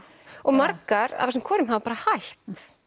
og margar af þessum konum hafa bara hætt